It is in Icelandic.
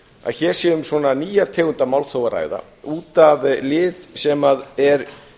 að hér sé um nýja tegund af málþófi að ræða út af lið sem er